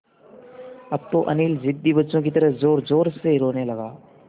अब तो अनिल ज़िद्दी बच्चों की तरह ज़ोरज़ोर से रोने लगा